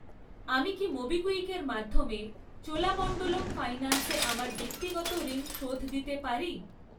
আমি কি মোবিকুইকের মাধ্যমে চোলামণ্ডলম ফাইন্যান্সে আমার ব্যক্তিগত ঋণ শোধ দিতে পারি?